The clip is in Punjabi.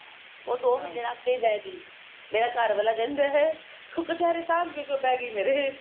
ਉਹ ਦੋ ਮਹੀਨੇ ਰੱਖ ਕੇ ਬੈਠ ਗਈ ਮੇਰਾ ਘਰਵਾਲਾ ਕਹਿੰਦਾ ਤੂੰ ਕਛੇਰੇ ਸਾਭ ਕੇ ਕਿਉਂ ਬਹਿਗੀ ਮੇਰੇ